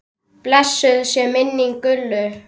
Blessuð sé minning Gullu.